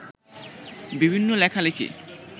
বিভিন্ন লেখালেখি